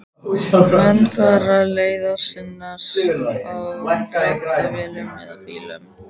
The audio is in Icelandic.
Menn fara leiðar sinnar á dráttarvélum eða bílum.